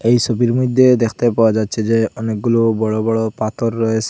এই সবির মধ্যে দেখতে পাওয়া যাচ্ছে যে অনেকগুলো বড় বড় পাথর রয়েসে।